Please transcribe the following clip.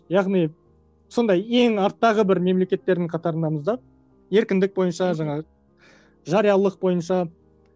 яғни сондай ең арттағы бір мемлекеттердің қатарындамыз да еркіндік бойынша жаңағы жариялық бойынша